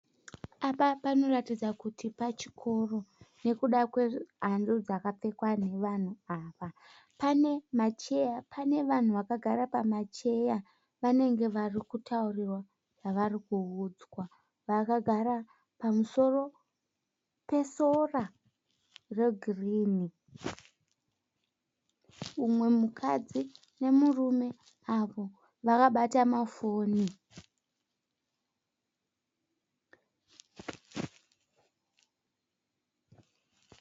Apa panoratidza kuti pachikoro nokuda kwehanzu dzakapfekwa navanhu ava. Pane macheya, pane vanhu vakagara pamacheya vanenge vari kutaurirwa zvavari kuudzwa. Vakagara pamusoro pesora regirini. Umwe mukadzi nemurume avo vakabata mafoni.